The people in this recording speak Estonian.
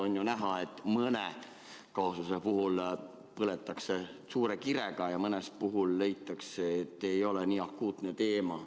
On ju näha, et mõne kaasuse puhul põletakse suure kirega ja mõne puhul leitakse, et see ei ole nii akuutne teema.